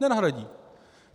Nenahradí.